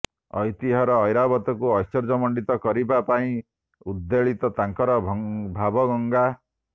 ଐତିହର ଐରାବତକୁ ଐଶ୍ୱର୍ଯ୍ୟମଣ୍ଡିତ କରିବା ପାଇଁ ଉଦ୍ବେଳିତ ତାଙ୍କର ଭାବଗଙ୍ଗା